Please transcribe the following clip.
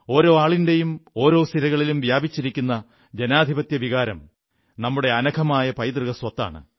ഓരോ ആളിന്റെയും ഓരോ സിരകളിലും വ്യാപിച്ചിരിക്കുന്ന ജനാധിപത്യവികാരം നമ്മുടെ അനഘമായ പൈതൃകസ്വത്താണ്